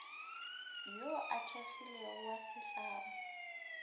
yo a kgethilwego wa setlamo